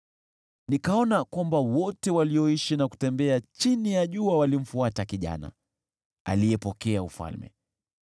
Nikaona kwamba wote walioishi na kutembea chini ya jua walimfuata kijana, aliyepokea ufalme.